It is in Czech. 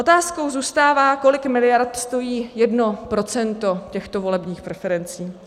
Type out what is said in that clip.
Otázkou zůstává, kolik miliard stojí jedno procento těchto volebních preferencí.